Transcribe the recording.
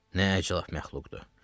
Nə əcəb məxluqdu.